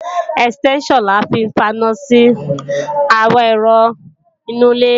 Ẹ̀stẹ́ńṣàn la fi ń faná sí àwọn ẹ̀rọ inú ilé